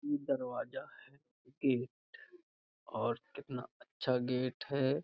ये दरवाजा है गेट और कितना अच्छा गेट है।